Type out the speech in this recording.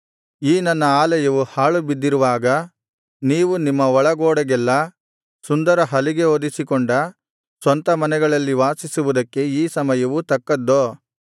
ಈ ನನ್ನ ಆಲಯವು ಹಾಳು ಬಿದ್ದಿರುವಾಗ ನೀವು ನಿಮ್ಮ ಒಳಗೋಡೆಗೆಲ್ಲಾ ಸುಂದರ ಹಲಿಗೆ ಹೊದಿಸಿಕೊಂಡ ಸ್ವಂತ ಮನೆಗಳಲ್ಲಿ ವಾಸಿಸುವುದಕ್ಕೆ ಈ ಸಮುಯವು ತಕ್ಕದ್ದೋ